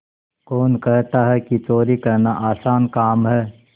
कौन कहता है कि चोरी करना आसान काम है